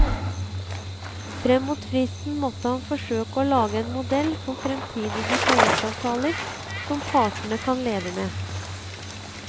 Frem mot fristen måtte han forsøke å lage en modell for fremtidige tariffavtaler som partene kan leve med.